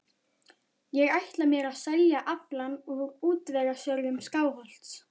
Ég ætla mér að selja aflann frá útvegsjörðum Skálholts.